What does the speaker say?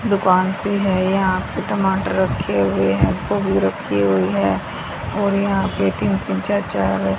दुकान सी है यहां पे टमाटर रखे हुए हैं गोभी रखी हुई है और यहां पे तीन तीन चार चार --